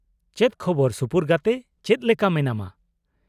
ᱪᱮᱫ ᱠᱷᱚᱵᱚᱨ ᱥᱩᱯᱩᱨ ᱜᱟᱛᱮ ,ᱪᱮᱫ ᱞᱮᱠᱟ ᱢᱮᱱᱟᱢᱟ?